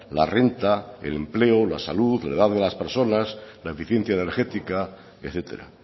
la renta el empleo la salud la edad de las personas la eficiencia energética etcétera